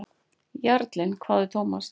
Jarlinn? hváði Thomas.